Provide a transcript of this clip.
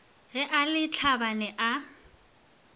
ge a le tlhabane a